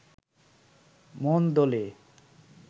মন দোলে